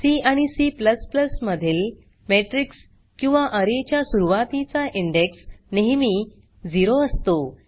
C आणि C मधील matrix किंवा अरे च्या सुरवातीचा इंडेक्स नेहेमी 0 असतो